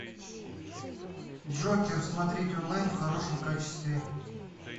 джокер смотреть онлайн в хорошем качестве